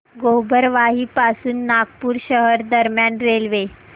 गोबरवाही पासून नागपूर शहर दरम्यान रेल्वे